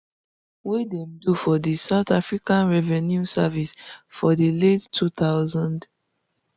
wey dem do for di south african revenue service for di late two thousands